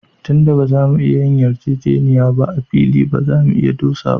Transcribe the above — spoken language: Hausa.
Tun da ba za mu iya yin yarjejeniya ba, a fili ba za mu dosa ba